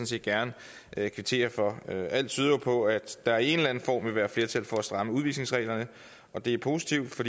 set gerne kvittere for alt tyder jo på at der i en eller anden form vil være flertal for at stramme udvisningsreglerne og det er positivt for